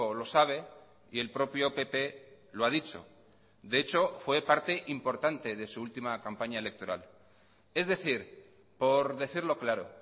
lo sabe y el propio pp lo ha dicho de hecho fue parte importante de su última campaña electoral es decir por decirlo claro